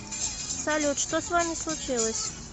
салют что с вами случилось